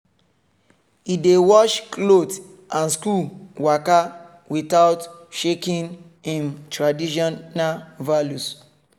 e dey wash cloth and school waka without shaking im traditional values